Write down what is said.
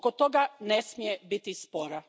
Oko toga ne smije biti spora.